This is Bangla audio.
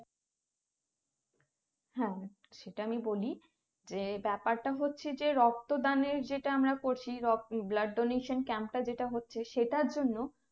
হ্যাঁ সেটা আমি বলি যে ব্যাপারটা হচ্ছে যে রক্ত দানের যেটা বলছি blood donation Camp টা যেটা হচ্ছে সেটার জন্য